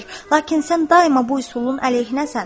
Lakin sən daima bu üsulun əleyhinəsən.